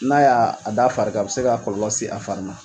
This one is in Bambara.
N'a y'a a d'a fari kan a bɛ se ka kɔlɔlɔ se a fari ma